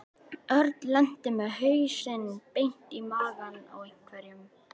Örn lenti með hausinn beint í magann á einhverjum.